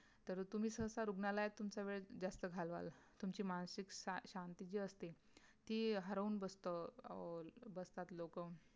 तरी तुम्ही साहसा रुग्णालयात तुमचं वेळ जास्त घालवाल तुमची मानसिक शा शांती जे असते ती हरवून बसते अं अं बसतात लोक.